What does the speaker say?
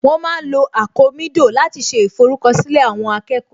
Wọ́n ma ń lo àkomídò láti ṣe ìforúkọ̀sílẹ̀ àwọn akẹ́kọ̀ọ́